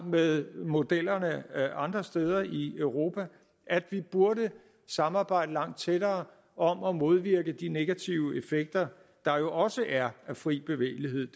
med modellerne andre steder i europa at vi burde samarbejde langt tættere om at modvirke de negative effekter der også er af fri bevægelighed